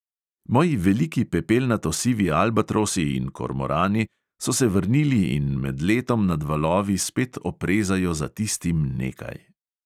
Moji veliki pepelnato sivi albatrosi in kormorani so se vrnili in med letom nad valovi spet oprezajo za tistim nekaj.